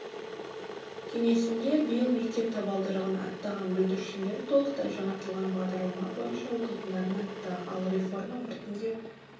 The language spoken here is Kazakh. кеңесінде биыл мектеп табалдырығын аттаған бүлдіршіндер толықтай жаңартылған бағдарлама бойынша оқитындарын айтты ал реформа біртіндеп